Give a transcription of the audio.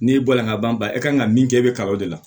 N'i bɔla ka ban i kan ka min kɛ i bɛ kalan o de la